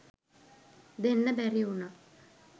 දෙන්න බැරි උනා